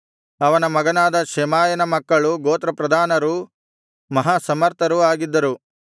ಅವನ ಮಗನಾದ ಶೆಮಾಯನ ಮಕ್ಕಳು ಗೋತ್ರಪ್ರಧಾನರೂ ಮಹಾಸಮರ್ಥರೂ ಆಗಿದ್ದರು